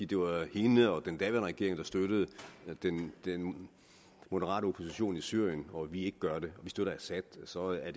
det var hende og den daværende regering der støttede den moderate opposition i syrien og at vi ikke gør det og at vi støtter assad så er